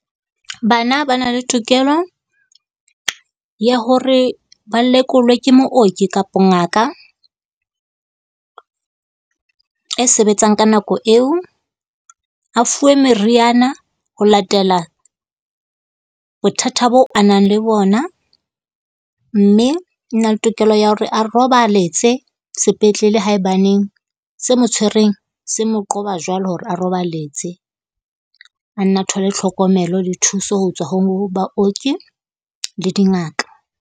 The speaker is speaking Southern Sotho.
Bana ba na le tokelo ya hore ba lekolwe ke mooki kapo ngaka e sebetsang ka nako eo. A fuwe meriana ho latela bothata bo a nang le bona, mme o na le tokelo ya hore a robaletse sepetlele haebaneng se mo tshwereng se mo qoba jwalo hore a roballetse. A nne a thole tlhokomelo le thuso ho tswa ho baoki le dingaka.